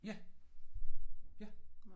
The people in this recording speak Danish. Ja. Ja